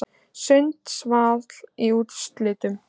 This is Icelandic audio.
Sundsvall í úrslitin